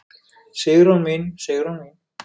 Sigrún mín, Sigrún mín.